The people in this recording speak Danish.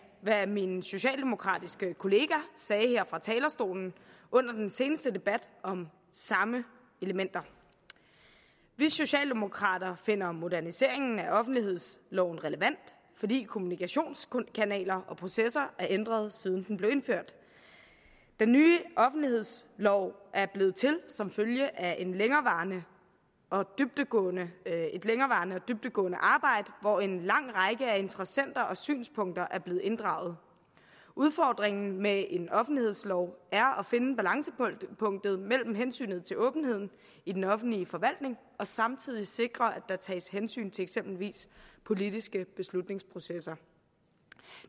hvad min socialdemokratiske kollega sagde her fra talerstolen under den seneste debat om samme elementer vi socialdemokrater finder moderniseringen af offentlighedsloven relevant fordi kommunikationskanaler og processer er ændret siden den blev indført den nye offentlighedslov er blevet til som følge af et længerevarende og dybdegående dybdegående arbejde hvor en lang række af interessenter og synspunkter er blevet inddraget udfordringen med en offentlighedslov er at finde balancepunktet mellem hensyn til åbenheden i den offentlige forvaltning og samtidig sikre at der tages hensyn til eksempelvis politiske beslutningsprocesser